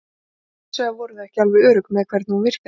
En hins vegar voru þau ekki alveg örugg með hvernig hún virkaði.